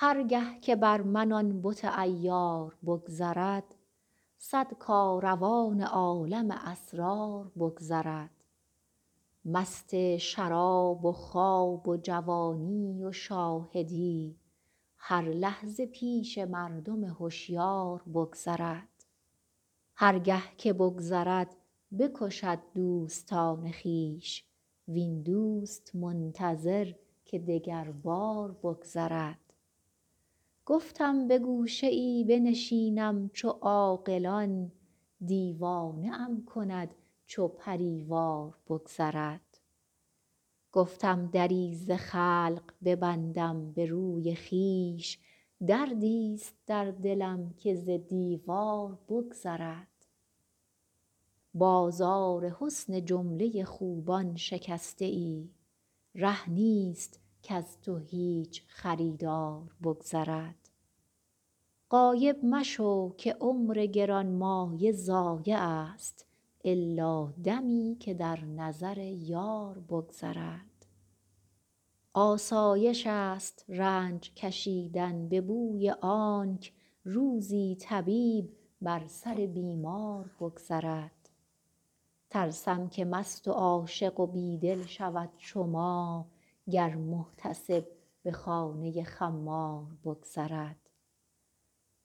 هر گه که بر من آن بت عیار بگذرد صد کاروان عالم اسرار بگذرد مست شراب و خواب و جوانی و شاهدی هر لحظه پیش مردم هشیار بگذرد هر گه که بگذرد بکشد دوستان خویش وین دوست منتظر که دگربار بگذرد گفتم به گوشه ای بنشینم چو عاقلان دیوانه ام کند چو پری وار بگذرد گفتم دری ز خلق ببندم به روی خویش دردیست در دلم که ز دیوار بگذرد بازار حسن جمله خوبان شکسته ای ره نیست کز تو هیچ خریدار بگذرد غایب مشو که عمر گرانمایه ضایعست الا دمی که در نظر یار بگذرد آسایشست رنج کشیدن به بوی آنک روزی طبیب بر سر بیمار بگذرد ترسم که مست و عاشق و بی دل شود چو ما گر محتسب به خانه خمار بگذرد